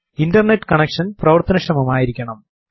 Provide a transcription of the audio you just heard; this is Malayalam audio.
internet connection പ്രവർത്തനക്ഷമമായിരിക്കണം